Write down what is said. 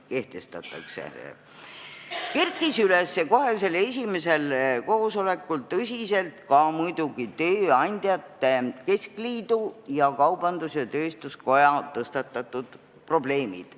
Kohe esimesel koosolekul kerkisid tõsiselt üles muidugi ka Eesti Tööandjate Keskliidu ja Eesti Kaubandus-Tööstuskoja tõstatatud probleemid.